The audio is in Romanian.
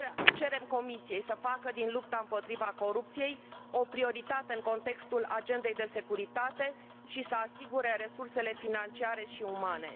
Cerem Comisiei să facă din lupta împotriva corupției o prioritate în contextul agendei de securitate și să asigure resursele financiare și umane.